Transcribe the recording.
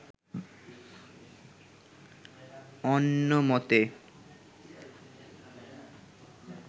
অন্য মতে